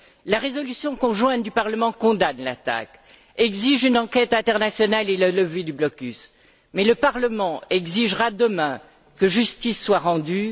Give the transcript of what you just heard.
La résolution conjointe du Parlement condamne l'attaque, exige une enquête internationale et la levée du blocus, mais le Parlement exigera demain que justice soit rendue.